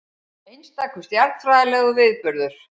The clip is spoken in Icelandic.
Einstakur stjarnfræðilegur viðburður